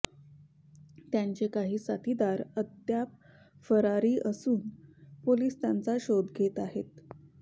त्यांचे काही साथीदार अद्याप फरारी असून पोलीस त्यांचा शोध घेत आहेत